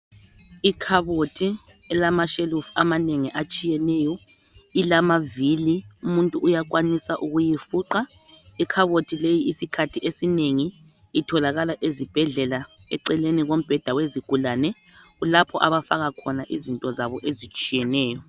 ikhabothi elamashelufu amanengi atshiyeneyo ilamavili umuntu uyakwanisa ukuyifuqa ikhabothi leyi isikhathi esinengi itholakala ezibhedlela eceleni kombheda wezigulane kulapho abafaka khona izinto zabo ezitshiyeneyo